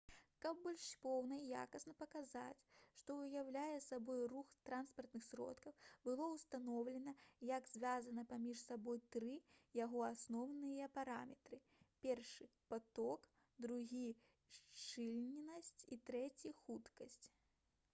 каб больш поўна і якасна паказаць што ўяўляе сабой рух транспартных сродкаў было ўстаноўлена як звязаны паміж сабой тры яго асноўныя параметры: 1 паток 2 шчыльнасць і 3 хуткасць